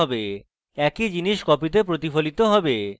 একই জিনিস কপিতে প্রতিফলিত হবে